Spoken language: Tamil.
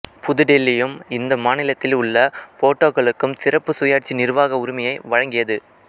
புது டெல்லியும் இந்த மாநிலத்தில் உள்ள போடோக்களுக்கு சிறப்பு சுயாட்சி நிர்வாக உரிமையை வழங்கியது